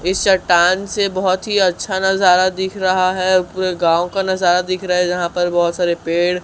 इस चट्टान से बहोत ही अच्छा नजारा दिख रहा है पूरे गांव का नजारा दिख रहा है जहां पर बहोत सारे पेड़--